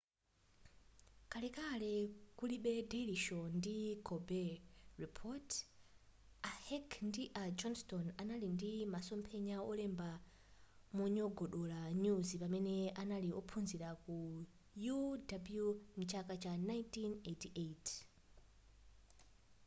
kalekale kulibe daily show ndi colbert report a heck ndi a johnstone anali ndi masomphenya olemba monyogodola nyuzi pamene anali ophunzila ku uw mchaka cha 1988